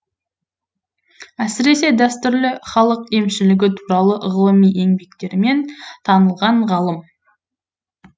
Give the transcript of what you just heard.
әсіресе дәстүрлі халық емшілігі туралы ғылыми еңбектерімен танылған ғалым